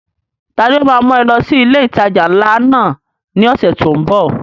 Ta ni ó ma mú ẹ lọ sí ilé ìtajà ńlá náà ní ọ̀sẹ̀ tó ń bọ̀?